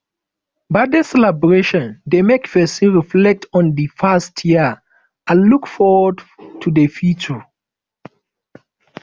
birthday celebration dey make pesin reflect on di past year and look forward to di future